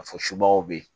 Ka fɔ subagaw be yen